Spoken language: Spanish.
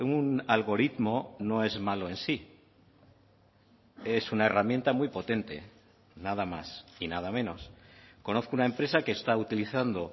un algoritmo no es malo en sí es una herramienta muy potente nada más y nada menos conozco una empresa que está utilizando